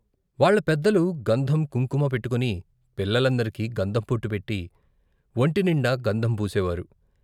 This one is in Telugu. వాళ్ళ పెద్దలు గంధం, కుంకుమ పెట్టుకుని, పిల్లలందరికి గంధం బొట్టు పెట్టి వొంటినిండా గంధం పూసేవారు.